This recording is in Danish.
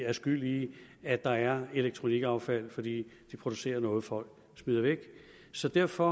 er skyld i at der er elektronikaffald fordi de producerer noget folk smider væk så derfor